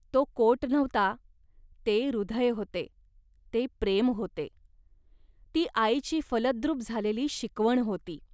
तो कोट नव्हता, ते हृदय होते, ते प्रेम होते. ती आईची फलद्रूप झालेली शिकवण होती